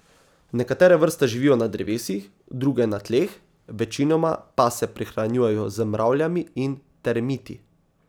Nekatere vrste živijo na drevesih, druge na tleh, večinoma pa se prehranjujejo z mravljami in termiti.